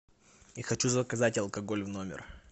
я хочу заказать алкоголь в номер